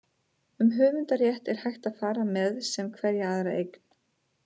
Um höfundarrétt er hægt að fara með sem hverja aðra eign.